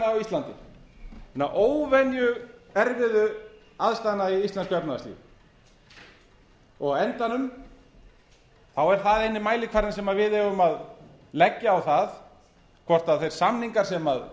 á íslandi hinna óvenju erfiðu aðstæðna í íslensku efnahagslífi á endanum er það eini mælikvarðinn sem við eigum að leggja á það hvort þeir samningar sem